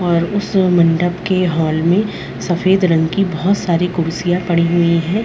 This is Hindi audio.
और उस मंडप के हॉल में सफेद रंग की बहुत सारी कुर्सियां पड़ी हुई हैं।